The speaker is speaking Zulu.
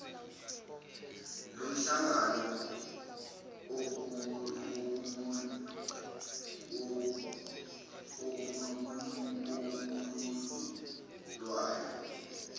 lomhlangano okuwuhlu lwayo